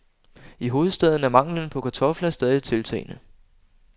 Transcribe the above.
I hovedstaden er manglen på kartofler stadig tiltagende.